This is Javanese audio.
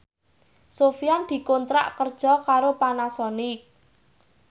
Sofyan dikontrak kerja karo Panasonic